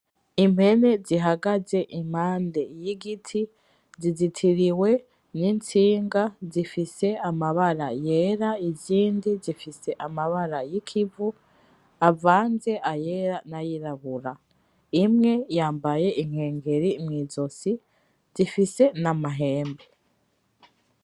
Impene zihagaze impande y'igiti, zizitiriwe n'itsinga, zifise amabara yera izindi zifise amabara y'ikivu avanze ayera n'ayirabura, imwe yambaye inkengeri mw'izosi, zifise n'amahembe.